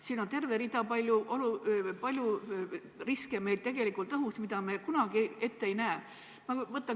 Siin on palju riske tegelikult õhus, mida me kunagi ette ei näe.